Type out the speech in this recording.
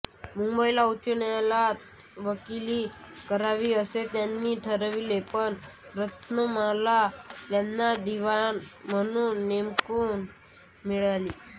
मुंबईला उच्च न्यायालयात वकिली करावी असे त्यांनी ठरविले पण रतलामला त्यांना दिवाण म्हणून नेमणूक मिळाली